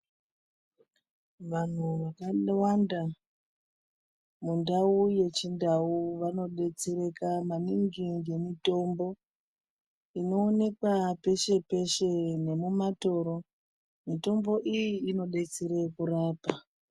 Vanhu vakawanda mundau yechi ndau vano detsereka maningi nge mutombo ino onekwa peshe peshe nemu matoro mutombo iyi ino detsere kurapa.